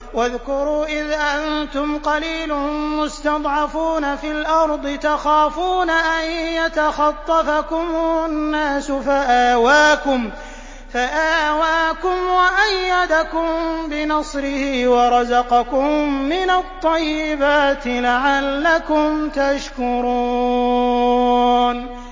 وَاذْكُرُوا إِذْ أَنتُمْ قَلِيلٌ مُّسْتَضْعَفُونَ فِي الْأَرْضِ تَخَافُونَ أَن يَتَخَطَّفَكُمُ النَّاسُ فَآوَاكُمْ وَأَيَّدَكُم بِنَصْرِهِ وَرَزَقَكُم مِّنَ الطَّيِّبَاتِ لَعَلَّكُمْ تَشْكُرُونَ